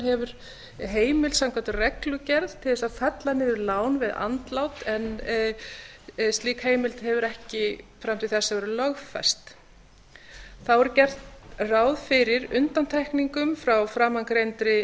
hefur heimild samkvæmt reglugerð til að fella niður lán við andlát en slík heimild hefur ekki fram til þessa verið lögfest þá er gert ráð fyrir undantekningum frá framangreindri